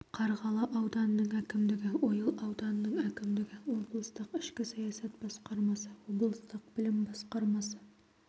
қарғалы ауданының әкімдігі ойыл ауданының әкімдігі облыстық ішкі саясат басқармасы облыстық білім басқармасы